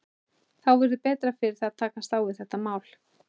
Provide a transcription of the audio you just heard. Þá verður betra fyrir þig að takast á við þetta mál.